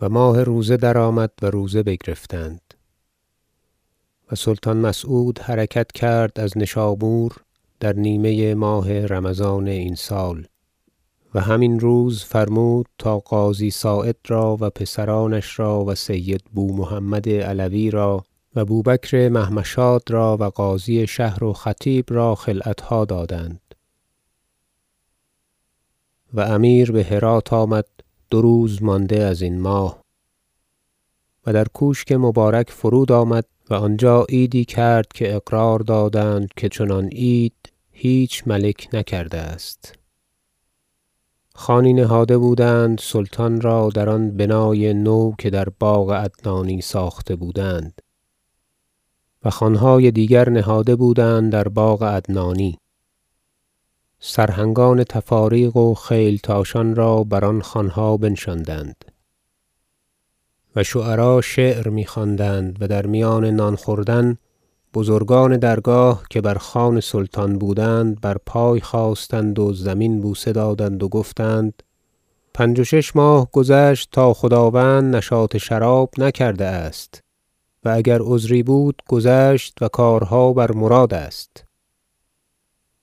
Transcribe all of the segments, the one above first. و ماه روزه درآمد و روزه بگرفتند و سلطان مسعود حرکت کرد از نشابور در نیمه ماه رمضان این سال و هم این روز فرمود تا قاضی صاعد را و پسرانش را و سید بومحمد علوی را و بوبکر محمشاد را و قاضی شهر و خطیب را خلعتها دادند و امیر به هرات آمد دو روز مانده ازین ماه و در کوشک مبارک فرودآمد و آنجا عیدی کرد که اقرار دادند که چنان عید هیچ ملک نکرده است خوانی نهاده بودند سلطان را در آن بنای نو که در باغ عدنانی ساخته بودند و خوانهای دیگر نهاده بودند در باغ عدنانی سرهنگان تفاریق و خیلتاشان را بر آن خوانها بنشاندند و شعرا شعر می خواندند و در میان نان خوردن بزرگان درگاه که بر خوان سلطان بودند بر پای خاستند و زمین بوسه دادند و گفتند پنج و شش ماه گذشت تا خداوند نشاط شراب نکرده است و اگر عذری بود گذشت و کارها بر مراد است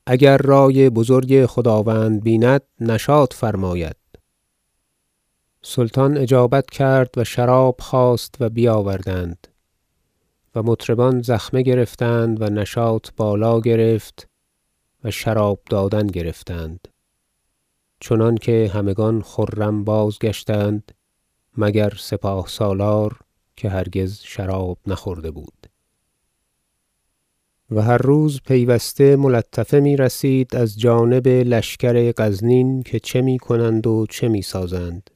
اگر رأی بزرگ خداوند بیند نشاط فرماید سلطان اجابت کرد و شراب خواست و بیاوردند و مطربان زخمه گرفتند و نشاط بالا گرفت و شراب دادن گرفتند چنانکه همگان خرم بازگشتند مگر سپاه سالار که هرگز شراب نخورده بود و هر روز پیوسته ملطفه می رسید از جانب لشکر غزنین که چه می کنند و چه می سازند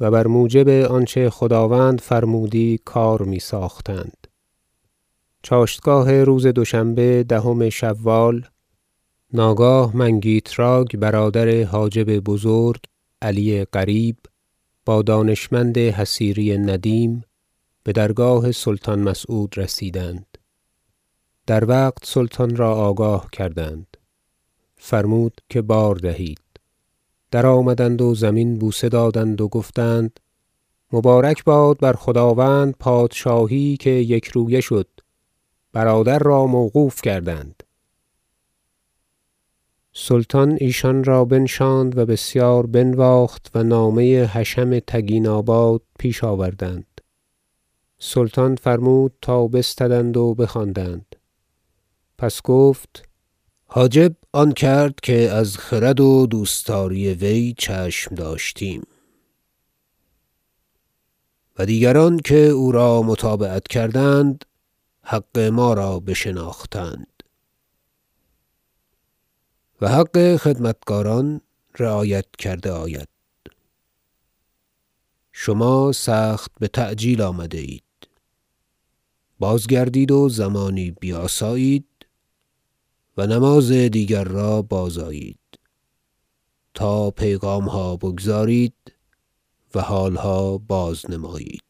و بر موجب آنچه خداوند فرمودی کار می ساختند چاشتگاه روز دوشنبه دهم شوال ناگاه منگیتراک برادر حاجب بزرگ علی قریب با دانشمند حصیری ندیم به درگاه سلطان مسعود رسیدند در وقت سلطان را آگاه کردند فرمود که بار دهید درآمدند و زمین بوسه دادند و گفتند مبارک باد بر خداوند پادشاهی که یکرویه شد برادر را موقوف کردند سلطان ایشان را بنشاند و بسیار بنواخت و نامه حشم تگیناباد پیش آوردند سلطان فرمود تا بستدند و بخواندند پس گفت حاجب آن کرد که از خرد و دوستداری وی چشم داشتیم و دیگران که او را متابعت کردند حق ما را بشناختند و حق خدمتکاران رعایت کرده آید شما سخت بتعجیل آمده اید بازگردید و زمانی بیاسایید و نماز دیگر را بازآیید تا پیغامها بگزارید و حالها بازنمایید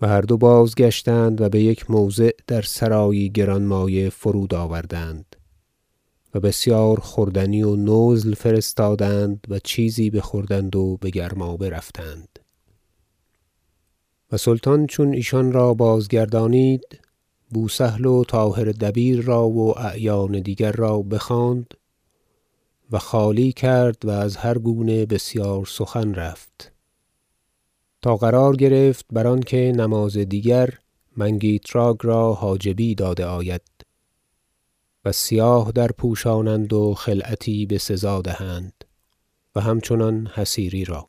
و هر دو بازگشتند و به یک موضع در سرایی گرانمایه فرودآوردند و بسیار خوردنی و نزل فرستادند و چیزی بخوردند و به گرمابه رفتند و سلطان چون ایشان را بازگردانید بوسهل و طاهر دبیر را و اعیان دیگر را بخواند و خالی کرد و از هر گونه بسیار سخن رفت تا قرار گرفت بر آنکه نماز دیگر منگیتراک را حاجبی داده آید و سیاه درپوشانند و خلعتی بسزا دهند و همچنان حصیری را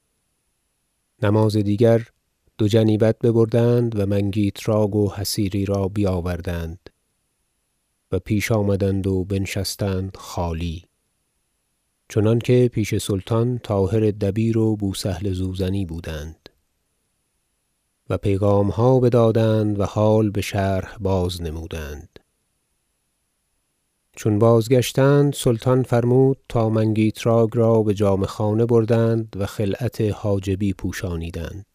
نماز دیگر دو جنیبت ببردند و منگیتراک و حصیری را بیاوردند و پیش آمدند و بنشستند خالی چنانکه پیش سلطان طاهر دبیر و بوسهل زوزنی بودند و پیغامها بدادند و حال بشرح بازنمودند چون بازگشتند سلطان فرمود تا منگیتراک را به جامه خانه بردند و خلعت حاجبی پوشانیدند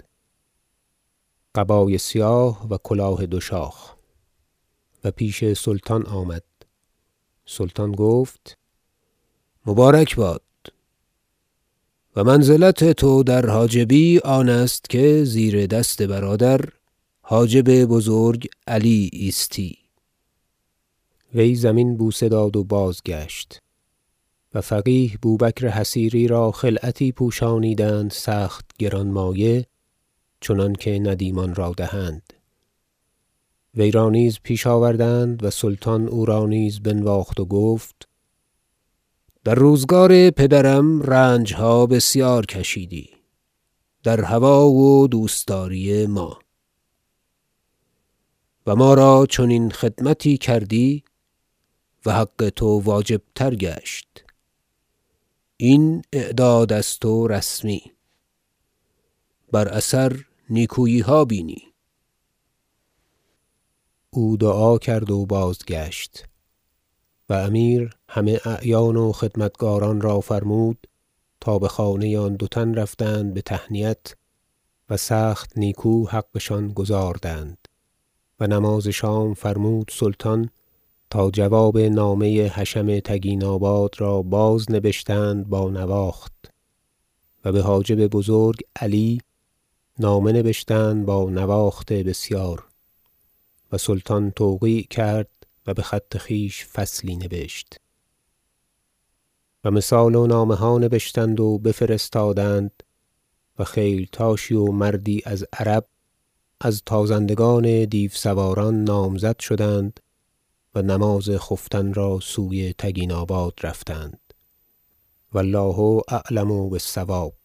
قبای سیاه و کلاه دوشاخ و پیش سلطان آمد سلطان گفت مبارک باد و منزلت تو در حاجبی آنست که زیر دست برادر حاجب بزرگ علی ایستی وی زمین بوسه داد و بازگشت و فقیه بوبکر حصیری را خلعتی پوشانیدند سخت گرانمایه چنانکه ندیمان را دهند وی را نیز پیش آوردند و سلطان او را نیز بنواخت و گفت در روزگار پدرم رنجها بسیار کشیدی در هوی و دوستداری ما و ما را چنین خدمتی کردی و حق تو واجب تر گشت این اعداد است و رسمی بر اثر نیکوییها بینی او دعا کرد و بازگشت و امیر همه اعیان و خدمتگاران را فرمود تا به خانه آن دو تن رفتند به تهنیت و سخت نیکو حقشان گزاردند و نماز شام فرمود سلطان تا جواب نامه حشم تگیناباد را بازنبشتند با نواخت و به حاجب بزرگ علی نامه نبشتند با نواخت بسیار و سلطان توقیع کرد و به خط خویش فصلی نبشت و مثال و نامه ها نبشتند و بفرستادند و خیلتاشی و مردی از عرب از تازندگان دیوسواران نامزد شدند و نماز خفتن را سوی تگیناباد رفتند و الله اعلم بالصواب